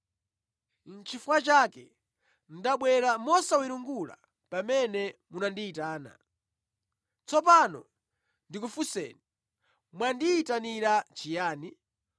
Nʼchifukwa chake ndabwera mosawiringula pamene munandiyitana. Tsopano ndikufunseni,” Mwandiyitanira chiyani?